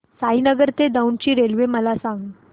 साईनगर ते दौंड ची रेल्वे मला सांग